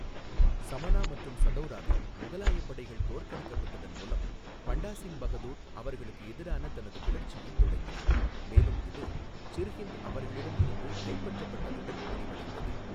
சமனா மற்றும் சதௌராவில் முகலாய படைகள் தோற்கடிக்கப்பட்டதன் மூலம் பண்டா சிங் பஹதூர் அவர்களுக்கு எதிரான தனது கிளர்ச்சியைத் தொடங்கினார் மேலும் இது சிர்ஹிந்த் அவர்களிடம் இருந்து கைப்பற்றப்பட்டதுடன் முடிவடைந்தது.